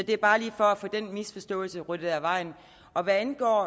er bare lige for at få den misforståelse ryddet af vejen hvad angår